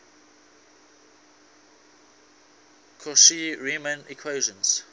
cauchy riemann equations